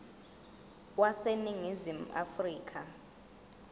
wase ningizimu afrika